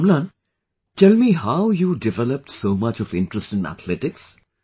Amlan, tell me how you developed so much of interest in athletics